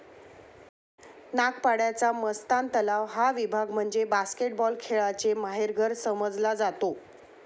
नागपाड्याचा मस्तान तलाव हा विभाग म्हणजे बास्केटबॉल खेळाचे माहेरघर समजला जातो.